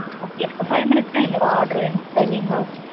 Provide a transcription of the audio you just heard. okay எனக்கு five minutes ல என்னோட order வேணும். தருவீங்களா?